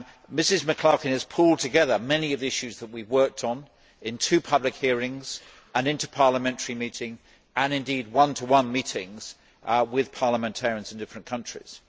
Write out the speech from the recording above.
Ms McClarkin has pulled together many of the issues that we have worked on in two public hearings, in an interparliamentary meeting, and indeed in one to one meetings with parliamentarians in different countries.